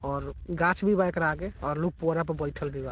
और गाछ भी बा एकरा आगे और लोग पुअरा पे बइठल भी बा।